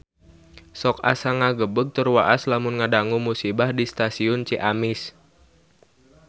Sok asa ngagebeg tur waas lamun ngadangu musibah di Stasiun Ciamis